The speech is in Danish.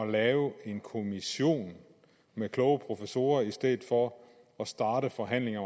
lave en kommission med kloge professorer i stedet for at starte forhandlingen